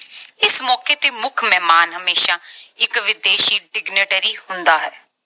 ਇਸ ਮੌਕੇ ਤੇ ਮੁੱਖ ਮਹਿਮਾਨ ਹਮੇਸ਼ਾ ਇਕ ਵਿਦੇਸ਼ੀ signatory ਹੁੰਦਾ ਹੈ।